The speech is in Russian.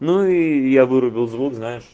ну и я вырубил звук знаешь